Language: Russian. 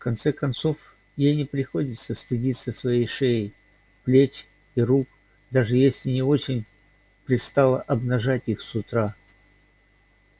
в конце концов ей не приходится стыдиться своей шеи плеч и рук даже если и не очень пристало обнажать их с утра